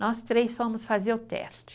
Nós três fomos fazer o teste.